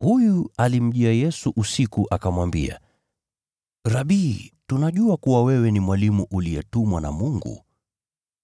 Huyu alimjia Yesu usiku akamwambia, “Rabi, tunajua kuwa wewe ni mwalimu uliyetumwa na Mungu,